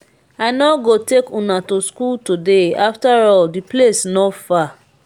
i no go take una to school today afterall the place no far